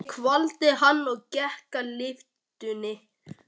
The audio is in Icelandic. Ég kvaddi hann og gekk að lyftunni.